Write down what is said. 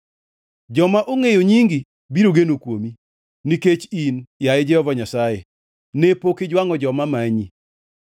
Joma ongʼeyo nyingi biro geno kuomi, nikech in, yaye Jehova Nyasaye, ne pok ijwangʼo joma manyi.